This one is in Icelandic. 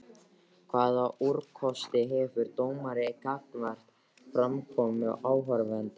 Hvaða úrkosti hefur dómari gagnvart framkomu áhorfenda?